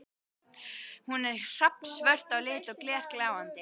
Hún er hrafnsvört á lit og glergljáandi.